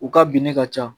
U ka bin ne ka ca